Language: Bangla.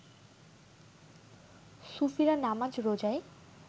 সুফিরা নামাজ রোজায়